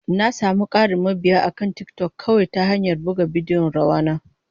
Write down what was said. Na sami ƙarin mabiya akan TikTok kawai ta hanyar buga bidiyon rawa na.